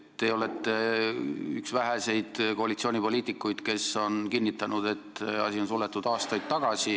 Te olete üks väheseid koalitsioonipoliitikuid, kes on kinnitanud, et need võimalused on suletud aastaid tagasi.